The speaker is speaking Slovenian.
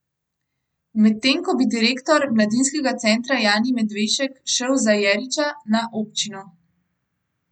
Medtem ko bi direktor Mladinskega centra Jani Medvešek šel za Jeriča na občino.